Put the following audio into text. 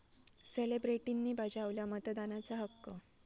सेलेब्रिटींनी बजावला मतदानाचा हक्क